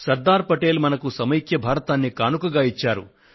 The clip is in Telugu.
శ్రీ సర్దార్ పటేల్ మనకు సమైక్య భారతాన్ని కానుకగా ఇచ్చారు